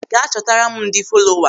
Gaa chọtara m ndị folowa!